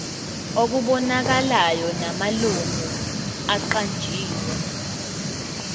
okubonakalayo namalungu aqanjiwe